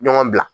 Ɲɔgɔn bila